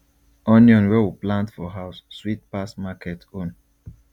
onion wey we plant for house sweet pass market own